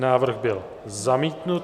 Návrh byl zamítnut.